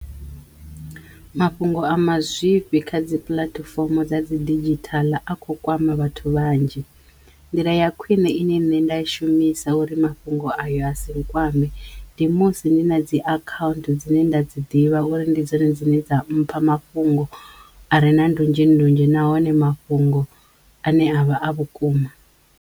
Mafhungo a mazwifhi kha dzi puḽatifomo dza dzi didzhithaḽa a kho kwama vhathu vhanzhi. Nḓila ya khwine ine nṋe nda i shumisa uri mafhungo ayo a si nkwama ndi musi ndi na dzi akhaunthu dzine nda dzi ḓivha uri ndi dzone dzine dza mpha mafhungo a re na ndunzhendunzhe nahone mafhungo ane a vha a vhukuma.